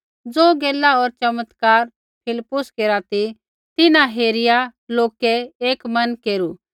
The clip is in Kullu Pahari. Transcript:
ज़ो गैला होर चमत्कार फिलिप्पुस केरा ती तिन्हां हेरिआ लोकै एक मन केरू